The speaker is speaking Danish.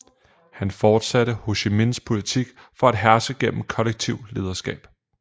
Han fortsatte Hồ Chí Minhs politik for at herske gennem kollektivt lederskab